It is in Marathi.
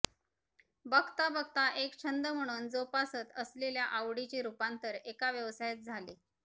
बघता बघता एक छंद म्हणून जोपासत असलेल्या आवडीचे रूपांतर एका व्यवसायात झाले